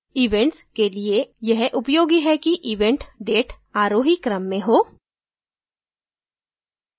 events के लिए यह उपयोगी है कि event date आरोही क्रम में हो